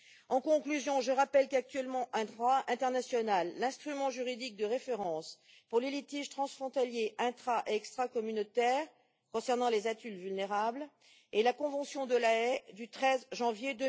En conclusion, je rappelle qu'actuellement, en droit international, l'instrument juridique de référence pour les litiges transfrontaliers intra et extracommunautaires concernant les adultes vulnérables est la Convention de La Haye du 13 janvier